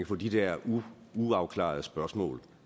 få de der uafklarede spørgsmål